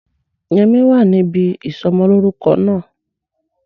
Yẹmí wa níbi ìsọmọlórúko náà